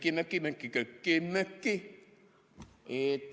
" Ja vastus: "Köki-möki, köki-möki, köki-möki.